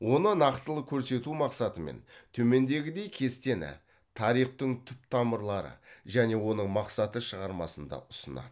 оны нақтылы көрсету мақсатымен төмендегідей кестені тарихтың түп тамырлары және оның мақсаты шығармасында ұсынады